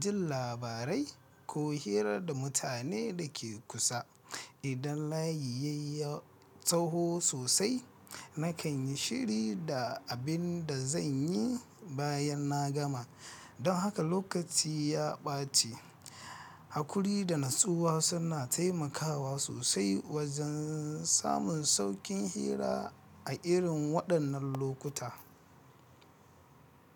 jin labarai ko hira da mutane da ke kusa. Idan layi ya yi tsawo sosai, nakan yi shiri da abin da zan yi bayan na gama. Don haka lokaci ya ɓace. Hakuri da natsuwa suna taimakawa sosai wajen samun sauƙin hira a irin waɗannan lokuta.